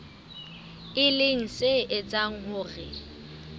e leng se etsang hore